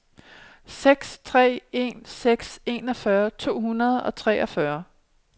seks tre en seks enogfyrre to hundrede og treogtyve